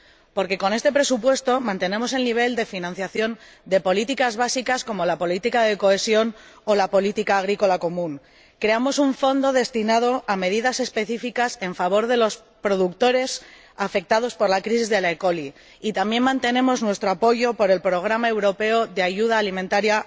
Porque, con este presupuesto, mantenemos el nivel de financiación de políticas básicas, como la política de cohesión o la política agrícola común, creamos un fondo destinado a medidas específicas en favor de los productores afectados por la crisis de la E. coli y también mantenemos nuestro apoyo a los más desfavorecidos mediante el programa europeo de ayuda alimentaria.